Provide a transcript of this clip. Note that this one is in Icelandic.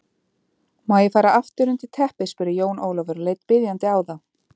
Má ég fara aftur undir teppið spurði Jón Ólafur og leit biðjandi á þá.